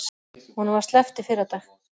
Honum var sleppt í fyrradag